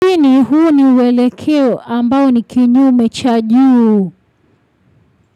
Chini huu ni uwele keo ambao ni kinyu mecha juu.